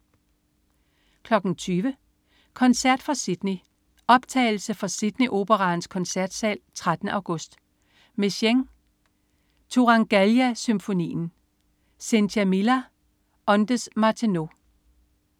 20.00 Koncert fra Sydney. Optagelse fra Sydney Operaens koncertsal 13. august. Messiaen: Turangallia symfonien. Cynthia Millar, ondes Martenot